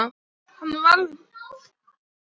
Hann varð bara að treysta á að þetta væri